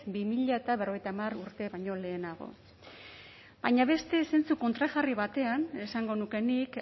bi mila berrogeita hamar urte baino lehenago baina beste zentzu kontrajarri batean esango nuke nik